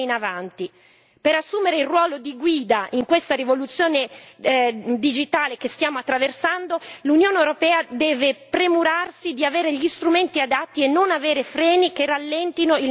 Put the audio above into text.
Per assumere il ruolo di guida in questa rivoluzione digitale che stiamo attraversando, l'Unione europea deve premurarsi di avere gli strumenti adatti e non avere freni che rallentino il nostro cammino.